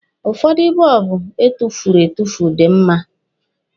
Ụfọdụ bọlbụ etufuru etufu dị mma.